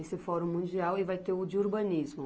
Esse Fórum Mundial, e vai ter o de urbanismo.